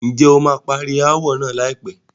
Ǹjẹ́ o máa parí ááwọ̀ náà láìpẹ́?